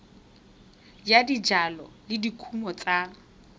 ya dijalo le dikumo tsa